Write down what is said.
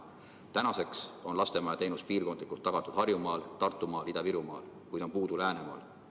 Tänaseks on lastemajateenus piirkondlikult tagatud Harjumaal, Tartumaal ja Ida‑Virumaal, kuid on puudu Läänemaal.